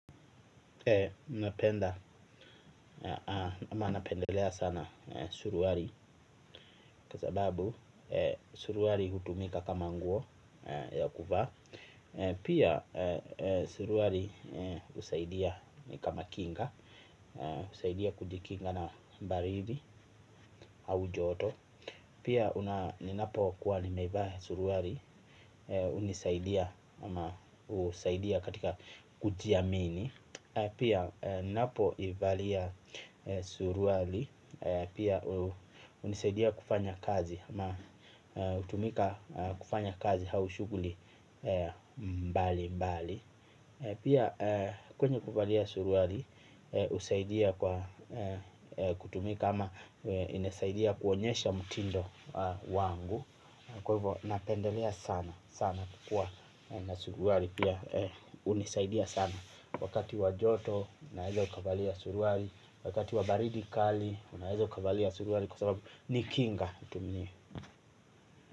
Unapenda ama napendelea sana suruali kwa sababu suruali hutumika kama nguo ya kuvaa. Pia suruali husaidia kama kinga, husaidia kujikinga na baridi au joto. Pia ninapo kuwa nimevaa suruali, hunisaidia katika kujiamini. Pia ninapo ivalia suruali pia hunisaidia kufanya kazi na hutumika kufanya kazi au shughuli mbali mbali. Pia kwenye kuvalia suruali husaidia kwa kutumia kama inasaidia kuonyesha mtindo wangu kwa hivyo napendelea sana kukuwa na suruali pia hunisaidia sana. Wakati wajoto unaeza ukavalia suruali. Wakati wa baridi kali unaeza ukavalia suruali. Kwa sababu ni kinga hutumia.